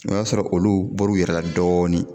O y'a sɔrɔ olu bɔr'u yɛrɛ la dɔɔnin